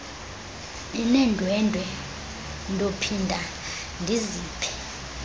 nineendwendwe ndophinda ndiziphe